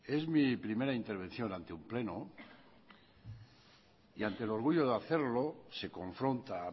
es mi primera intervención ante un pleno y ante el orgullo de hacerlo se confronta a